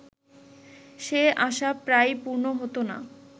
সে আশা প্রায়ই পূর্ণ হত না